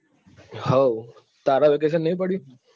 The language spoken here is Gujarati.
હઉ તારે નહિ પડ્યું?